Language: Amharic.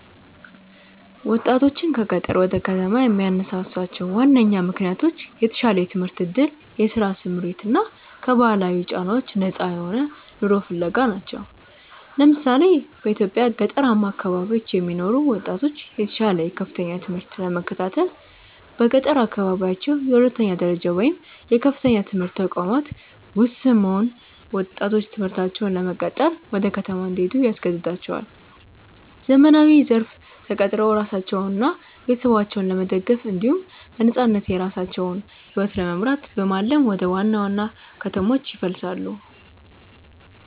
ወጣቶችን ከገጠር ወደ ከተማ የሚያነሳሷቸው ዋነኛ ምክንያቶች የተሻለ የትምህርት ዕድል፣ የሥራ ስምሪት እና ከባህላዊ ጫናዎች ነፃ የሆነ ኑሮ ፍለጋ ናቸው። ለምሳሌ፣ በኢትዮጵያ ገጠራማ አካባቢዎች የሚኖሩ ወጣቶች የተሻለ የከፍተኛ ትምህርት ለመከታተል በገጠር አካባቢዎች የሁለተኛ ደረጃ ወይም የከፍተኛ ትምህርት ተቋማት ውስን መሆን ወጣቶች ትምህርታቸውን ለመቀጠል ወደ ከተማ እንዲሄዱ ያስገድዳቸዋል። ዘመናዊው ዘርፍ ተቀጥረው ራሳቸውንና ቤተሰባቸውን ለመደገፍ እንዲሁም በነፃነት የራሳቸውን ሕይወት ለመምራት በማለም ወደ ዋና ዋና ከተሞች ይፈልሳሉ።